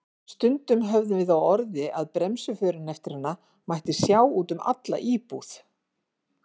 Stundum höfðum við á orði að bremsuförin eftir hana mætti sjá út um alla íbúð.